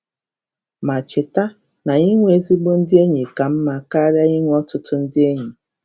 Ma cheta na inwe ezigbo ndị enyi ka mma karịa inwe ọtụtụ ndị enyi!